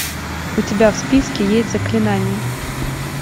у тебя в списке есть заклинание